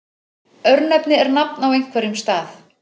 Örnefni er nafn á einhverjum stað.